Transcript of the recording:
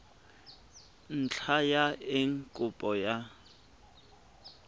ntlha ya eng kopo ya